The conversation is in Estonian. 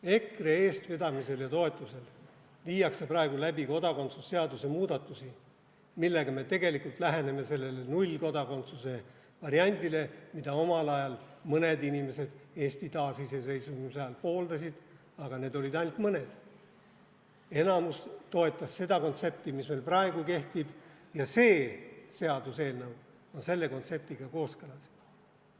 EKRE eestvedamisel ja toetusel viiakse praegu läbi kodakondsuse seaduse muudatusi, millega me tegelikult läheneme sellele nullkodakondsuse variandile, mida mõned inimesed Eesti taasiseseisvumise ajal pooldasid, aga need olid ainult mõned, enamus toetas seda kontsepti, mis meil praegu kehtib, ja see seaduseelnõu on selle kontseptiga kooskõlas.